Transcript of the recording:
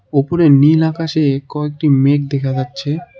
ওপরে নীল আকাশে কয়েকটি মেঘ দেখা যাচ্ছে।